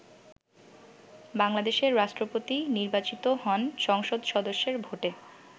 বাংলাদেশে রাষ্ট্রপতি নির্বাচিত হন সংসদ সদস্যদের ভোটে।